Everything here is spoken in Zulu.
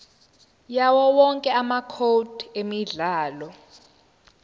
yawowonke amacode emidlalo